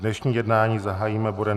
Dnešní jednání zahájím bodem